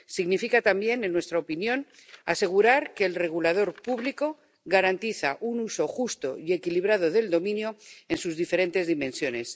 Significa también, en nuestra opinión, asegurar que el regulador público garantiza un uso justo y equilibrado del dominio en sus diferentes dimensiones.